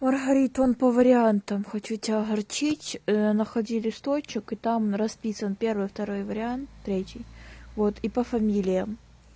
маргарита он по вариантам хочу тебя огорчить находи листочек и там расписан первый второй вариант и третий вот и по фамилиям